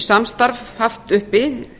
samstarf haft uppi